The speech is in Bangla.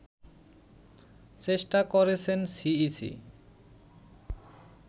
চেষ্টা করেছেন সিইসি